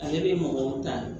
Ale bɛ mɔgɔw ta de